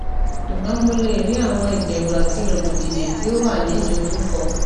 ṣugbọn mo le ri awọn iberu ati rogbodije ti o wa ni dojuko